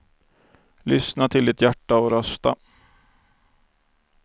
Lyssna till ditt hjärta och rösta.